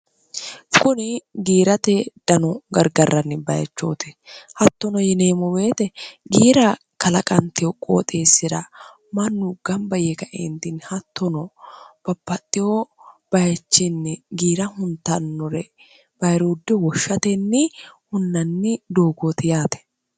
kuni giirate dano gargarranni bayichooti hattono yineemu beete giira kalaqanteoqqooxeessira mannu gamba ye kaeentinni hattono bapaxxiyoo bayichiinni giira huntannore bayirooddi woshshatenni hunnanni doogoote yaate